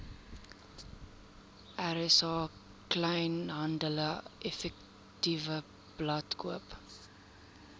rsa kleinhandeleffektewebblad koop